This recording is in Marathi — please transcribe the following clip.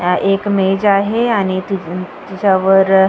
हा एक इमेज आहे आणि ति त्याच्यावर.